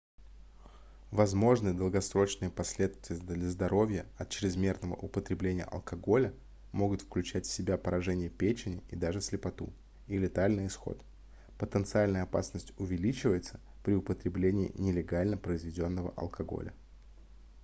возможные долгосрочные последствия для здоровья от чрезмерного употребления алкоголя могут включать в себя поражение печени и даже слепоту и летальный исход потенциальная опасность увеличивается при употреблении нелегально произведённого алкоголя